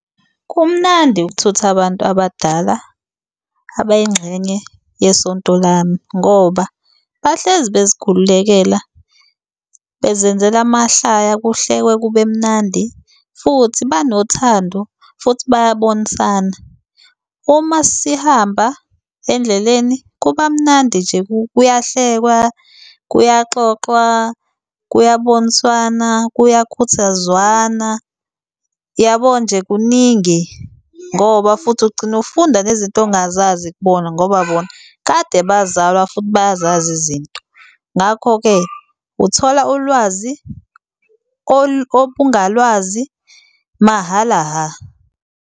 Kumnandi ukuthutha abantu abadala, abayingxenye yesonto lami, ngoba bahlezi bezikhululekela, bezenzela amahlaya kuhlekwe kube mnandi futhi banothando, futhi bayabonisana. Uma sihamba endleleni kuba mnandi nje kuyahlekwa, kuyaxoxwa, kuyaboniswana, kuyakhuthazwana, yabo nje kuningi. Ngoba futhi ugcine ufunda nezinto ongazazi kubona ngoba bona kade bazalwa futhi bayazazi izinto. Ngakho-ke, uthola ulwazi obungalwazi mahhala hha.